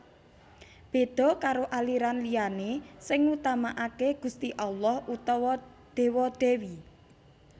Béda karo aliran liyané sing ngutamakaké Gusti Allah utawa Déwa Dèwi